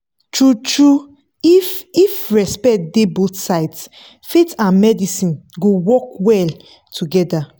true-true if if respect dey both sides faith and medicine go work well together.